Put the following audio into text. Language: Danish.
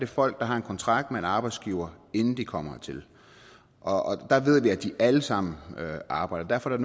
folk der har en kontrakt med en arbejdsgiver inden de kommer hertil og der ved vi at de alle sammen arbejder og derfor er